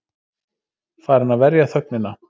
Farin að verja þögnina.